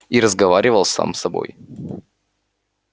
и разговаривал сам с собой